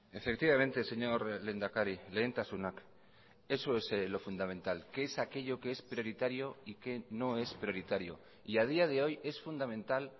efectivamente señor lehendakari lehentasunak eso es lo fundamental qué es aquello que es prioritario y qué no es prioritario y a día de hoy es fundamental